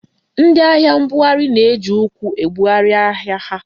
Ndị ahịa mbugharị na-eji ụkwụ ebugharị ahịa ha.